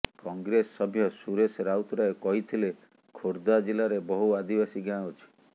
କଂଗ୍ରେସ ସଭ୍ୟ ସୁରେଶ ରାଉତରାୟ କହିଥିଲେ ଖୋର୍ଦ୍ଧା ଜିଲ୍ଲାରେ ବହୁ ଆଦିବାସୀ ଗାଁ ଅଛି